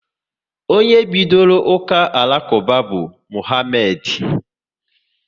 Onye bidoro uka Alakuba bụ Mohamedi